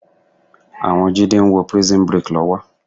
Àwọn Jídé ń wo Prison Break lọ́wọ́